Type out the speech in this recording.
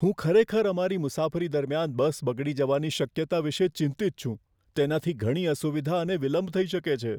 હું ખરેખર અમારી મુસાફરી દરમિયાન બસ બગડી જવાની શક્યતા વિશે ચિંતિત છું, તેનાથી ઘણી અસુવિધા અને વિલંબ થઈ શકે છે.